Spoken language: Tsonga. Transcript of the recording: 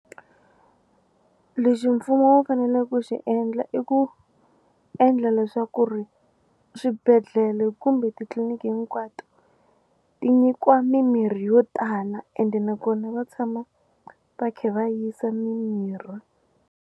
Lexi mfumo wu fanele ku xi endla i ku endla leswaku ri swibedhlele kumbe titliliniki hinkwato ti nyikiwa mimirhi yo tala ende nakona va tshama va kha va yisa mimirhi.